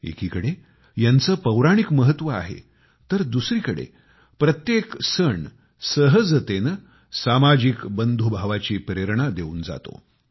एकीकडे यांचे पौराणिक महत्व आहे तर दुसरीकडे प्रत्येक सण सहजतेने सामाजिक बंधुभावाची प्रेरणा देऊन जातो